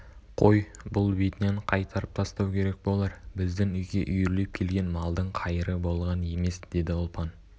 қой бұл бетінен қайтарып тастау керек болар біздің үйге үйірлеп келген малдың қайыры болған емес деді ұлпан